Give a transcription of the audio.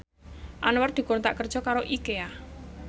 Anwar dikontrak kerja karo Ikea